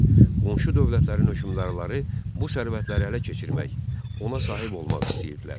Qonşu dövlətlərin hökmdarları bu sərvətlərə ələ keçirmək, ona sahib olmaq istəyirdilər.